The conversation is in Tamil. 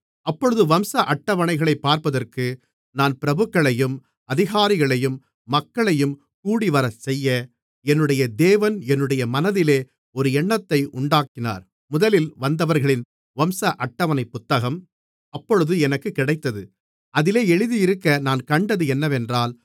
அப்பொழுது வம்ச அட்டவணைகளைப் பார்ப்பதற்கு நான் பிரபுக்களையும் அதிகாரிகளையும் மக்களையும் கூடிவரச்செய்ய என்னுடைய தேவன் என்னுடைய மனதிலே ஒரு எண்ணத்தை உண்டாக்கினார் முதலில் வந்தவர்களின் வம்ச அட்டவணைப் புத்தகம் அப்பொழுது எனக்கு கிடைத்தது அதிலே எழுதியிருக்க நான் கண்டது என்னவென்றால்